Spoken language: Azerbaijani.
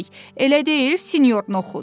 Elə deyil, Sinyor Noxud?